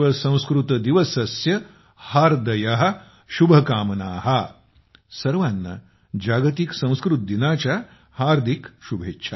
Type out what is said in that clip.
संस्कृतदिवसस्य हार्द्य शुभकामना सर्वांना जागतिकसंस्कृतदिनाच्या हार्दिक शुभेच्छा